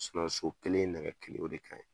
so kelen nɛgɛ kelen o de ka ɲi,